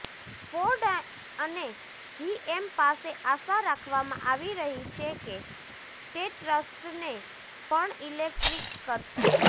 Ford અને GM પાસે આશા રાખવામાં આવી રહી છે કે તે ટ્રક્સને પણ ઇલેક્ટ્રિક કરશે